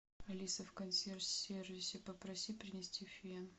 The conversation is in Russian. алиса в консьерж сервисе попроси принести фен